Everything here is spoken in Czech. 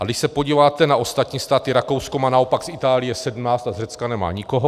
A když se podíváte na ostatní státy, Rakousko má naopak z Itálie 17 a z Řecka nemá nikoho.